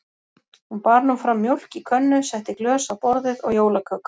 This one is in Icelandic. Hún bar nú fram mjólk í könnu, setti glös á borðið og jólaköku.